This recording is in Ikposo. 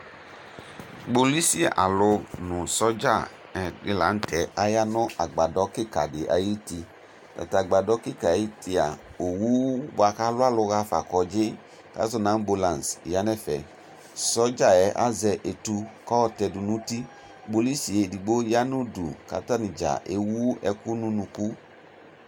Kpolʋsi alʋ nʋ sɔdza dini la nʋ tɛ aya nʋ agbadɔ kika di ayuti Tatʋ agbadɔ kika ayuti a, owu boa kʋ alʋ alʋ hafa kɔndzi, kazɔ nʋ ambolansi ya nʋ ɛfɛ Sɔdza yɛ azɛ etu kayɔ tɛ dʋ nʋ uti Kpolʋsi yɛ edigbo ya nʋ udu kʋ atani dza ewu ɛkʋ nʋ unuku